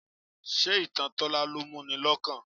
Ṣé ìtàn Tola ló mú ni lọ́kàn jù?